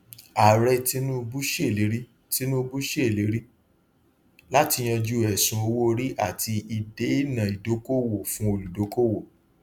ààrẹ tinubu ṣèlérí tinubu ṣèlérí láti yanjú ẹsùn owóorí àti ìdènà ìdókòwò fún olùdókòwò